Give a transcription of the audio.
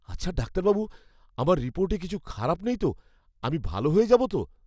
আচ্ছা ডাক্তারবাবু, আমার রিপোর্টে কিছু খারাপ নেই তো? আমি ভাল হয়ে যাব তো?